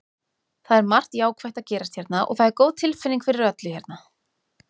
Það er margt jákvætt að gerast hérna og það er góð tilfinning fyrir öllu hérna.